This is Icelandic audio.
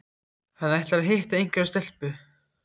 Hann ætlar að hitta einhverja stelpu